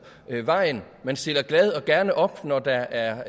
vejen man stiller glad og gerne op når der er